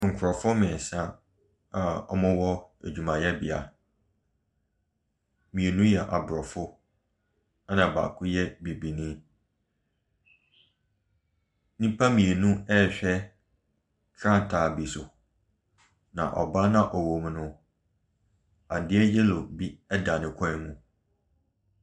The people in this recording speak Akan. Nkrɔfoɔ mmiɛnsa a wɔwɔ adwumayɛbea. Mmienu yɛ Aborɔfo na baako yɛ Bibini. Nnipa mmienu bi rehwɛ frankaa bi so. Na ɔbaa no a ɔwɔ mu no, adeɛ yellow bi da ne koom.